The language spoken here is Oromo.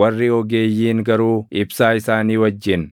Warri ogeeyyiin garuu ibsaa isaanii wajjin